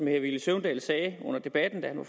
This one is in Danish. herre villy søvndal sagde under debatten da han var